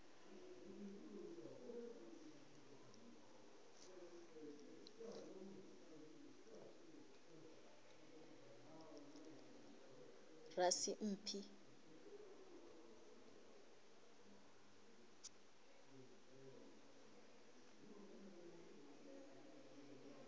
rasimphi